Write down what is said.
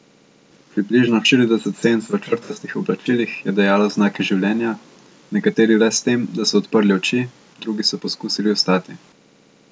Približno štirideset senc v črtastih oblačilih je dajalo znake življenja, nekateri le s tem, da so odprli oči, drugi so poskusili vstati.